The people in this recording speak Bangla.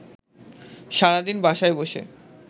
সারাদিন বাসায় বসে